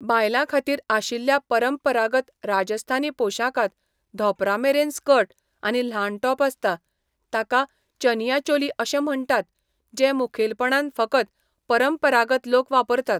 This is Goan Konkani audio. बायलांखातीर आशिल्ल्या परंपरागत राजस्थानी पोशाखांत धोंपरामेरेन स्कर्ट आनी ल्हान टॉप आसता, ताका चनिया चोली अशें म्हण्टात, जे मुखेलपणान फकत परंपरागत लोक वापरतात.